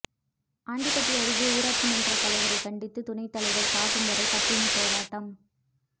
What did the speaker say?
ஆண்டிபட்டி அருகே ஊராட்சி மன்ற தலைவரை கண்டித்து துணைத்தலைவர் சாகும் வரை பட்டினி போராட்டம்